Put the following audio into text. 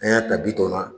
An y'a ta bi tɔw la